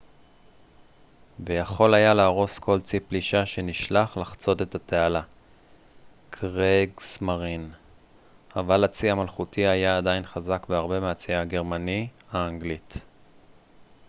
"אבל הצי המלכותי היה עדיין חזק בהרבה מהצי הגרמני "kriegsmarine" ויכול היה להרוס כל צי פלישה שנשלח לחצות את התעלה האנגלית.